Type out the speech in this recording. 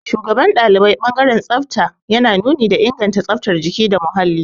Shugaban ɗalibai ɓangaren tsafta yana nuni da inganta tsaftar jiki data muhalli.